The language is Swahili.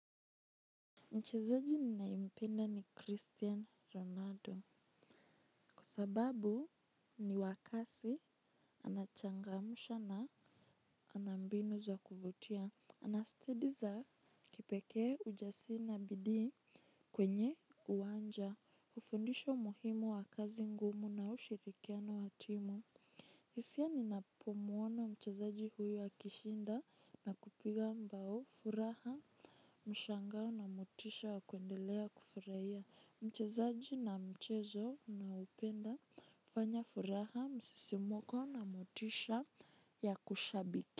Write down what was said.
Mchezaji ninayempenda ni Christian Ronaldo. Kwa sababu niwa kasi anachangamsha na ana mbinu za kuvutia. Anastidiza kipekee ujasiri bidii kwenye uwanja. Hufundisha umuhimu wa kazi ngumu na ushirikiano wa timu. Hisia ninapomuona mchezaji huyu akishinda na kupiga bao furaha mshangao na motisha wa kuendelea kufurahia. Mchezaji na mchezo naoupenda fanya furaha msisimko na motisha ya kushabiki.